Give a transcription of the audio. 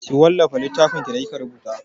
Ki wallafa littafinki da kika rubuta!